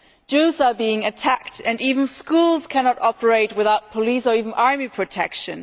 Jews are being attacked, and even schools cannot operate without police or army protection.